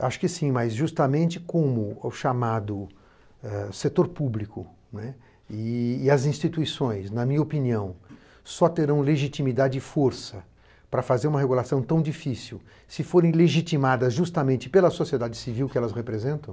Acho que sim, mas justamente como o chamado setor público e as instituições, na minha opinião, só terão legitimidade e força para fazer uma regulação tão difícil se forem legitimadas justamente pela sociedade civil que elas representam.